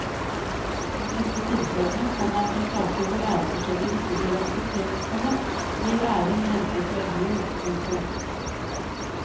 I disse tilfellene, komma i saker hvor æreforskjeller ikke blir akseptert, komma blir æren renset med blod. punktum